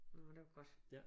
Nåh det var godt